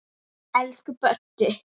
Elsku Böddi.